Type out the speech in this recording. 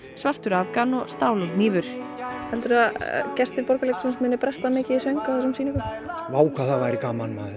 svartur afgan og stál og hnífur heldur þú að gestir Borgarleikhússins munu bresta mikið í söng á þessum sýningum vá hvað það væri gaman maður